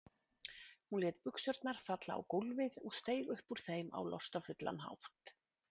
Hún lét buxurnar falla á gólfið og steig upp úr þeim á lostafullan hátt.